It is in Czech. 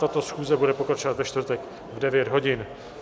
Tato schůze bude pokračovat ve čtvrtek v 9 hodin.